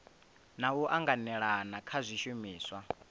na u anganelana kha zwishumiswa